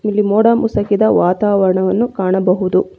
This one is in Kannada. ಇಲ್ಲಿ ಮೋಡ ಮುಸಕಿದ ವಾತಾವರಣವನ್ನು ಕಾಣಬಹುದು.